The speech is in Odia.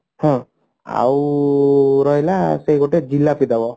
ହଁ ଆଉ ରହିଲା ସେ ଗୋଟେ ଜିଲାପି ଦେବ